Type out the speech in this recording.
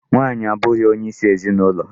Nwaanyị abụghị onyeisi ezinụlọ.